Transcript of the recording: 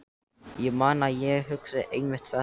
Ég man að ég hugsaði einmitt þetta.